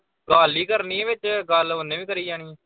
ਗੱਲ ਈ ਕਰਨੀ ਵਿਚ। ਗੱਲ ਉਹਨੇ ਵੀ ਕਰੀ ਜਾਣੀ।